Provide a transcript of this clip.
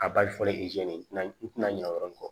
A bali fɔlen e tɛna i tina o yɔrɔnin kɔ